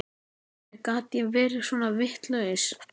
Hvernig gat ég verið svona vitlaus?